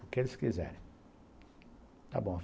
O que eles quiserem, está bom.